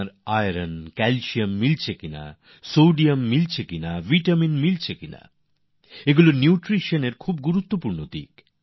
কতটা আয়রনক্যালসিয়াম পাচ্ছে বা পাচ্ছে না সোডিয়াম পাচ্ছে কি না এইগুলি পুষ্টির খুব গুরুত্বপূর্ণ দিক